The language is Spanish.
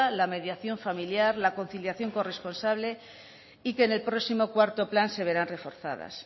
la mediación familiar la conciliación corresponsable y que en el próximo cuarto plan se verán reforzadas